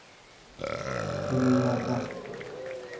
Linnea Rask